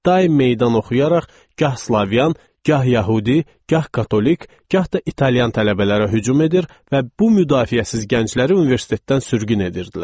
Daim meydan oxuyaraq, gah slavyan, gah yəhudi, gah katolik, gah da İtaliyan tələbələrə hücum edir və bu müdafiəsiz gəncləri universitetdən sürgün edirdilər.